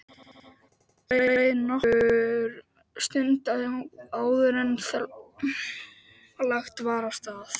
Það leið nokkur stund áður en lagt var af stað.